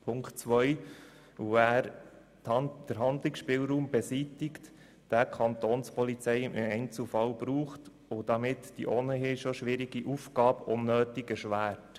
Punkt 2 lehnen wir ab, weil er den Handlungsspielraum beseitigt, welchen die Polizei im Einzelfall braucht, und weil er dadurch ihre ohnehin schon schwierige Aufgabe unnötig erschwert.